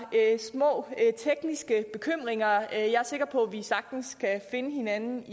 små tekniske bekymringer jeg er sikker på at vi sagtens kan finde hinanden